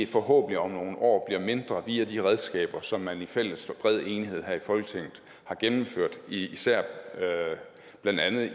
forhåbentlig om nogle år bliver mindre via de redskaber som man i fælles og bred enighed her i folketinget har gennemført især blandt andet